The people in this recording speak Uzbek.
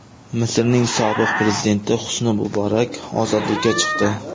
Misrning sobiq prezidenti Husni Muborak ozodlikka chiqdi.